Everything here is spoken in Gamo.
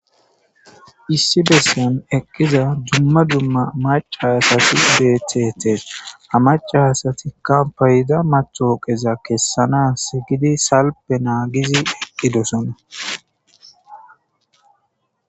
issi bessen eqqiza dumma dumma maca hasati edethete hamaca hasatikka payida macooqeza kessana si gidi salpe naagizi eqqidosona